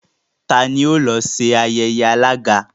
T'ani ó lọ sí ayẹyẹ alága?